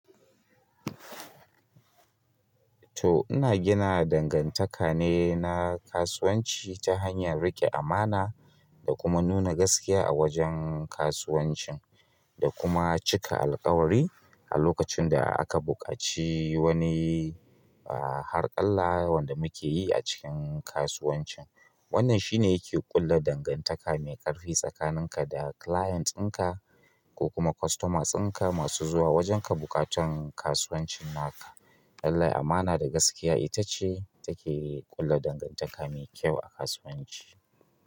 To ina gina dangantaka ne na kasuwanci ta hanyar rike amana da kuma nuna gaskiya a wajen kasuwancin, da kuma cika alkawari a lokacin da aka buƙaci wani, ah, harkalla wanda muke yi a cikin kasuwancin. Wannan shi ne yake ƙulla dangantaka mai ƙarfi tsakanin ka da client ɗinka ko kuma customers ɗinka masu zuwa wajenka bukatan kasuwancin naka. Lallai amana da gaskiya ita ce take ƙulla dangantaka mai kyau a kasuwanci.